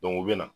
u bɛ na